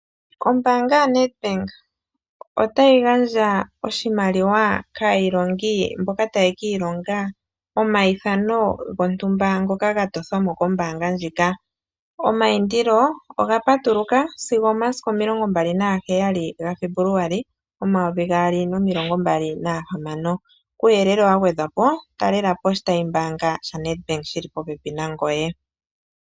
Ombaanga yaNedbank otayi gandja oshimaliwa kaailongi mboka taye ki ilonga omaithano gontumba ngoka gatothwamo kombaanga ndjika, omaindilo ogapatuluka sigo omasiku omilongo mbali nagaheyali gaFebuluali omaovi gaali nomilongo mbali nahamano kuuyelele wagwedhwapo talelapo oshitayimbaanga shaNedbank shili popepi nangoye.